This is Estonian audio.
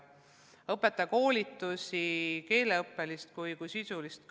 On tehtud ka õpetajate koolitusi, nii keeleõppelisi kui sisulisi.